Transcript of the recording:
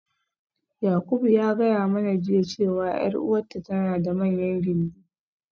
Yakubu ya gaya mana jiya cewa 'yar uwarta tana da manyan gindi.